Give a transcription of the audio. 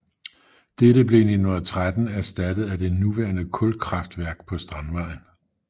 Dette blev i 1913 erstattet af det nuværende kulkraftværk på Strandvejen